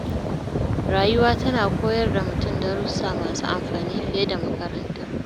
Rayuwa tana koyar da mutum darussa masu amfani fiye da makaranta.